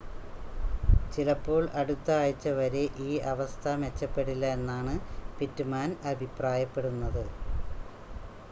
ചിലപ്പോൾ അടുത്ത ആഴ്ച്ച വരെ ഈ അവസ്ഥ മെച്ചപ്പെടില്ല എന്നാണ് പിറ്റ്മാൻ അഭിപ്രായപ്പെടുന്നത്